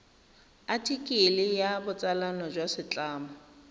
athikele ya botsalano jwa setlamo